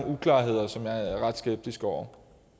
uklarheder som jeg er ret skeptisk over